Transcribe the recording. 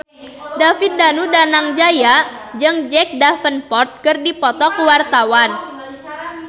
David Danu Danangjaya jeung Jack Davenport keur dipoto ku wartawan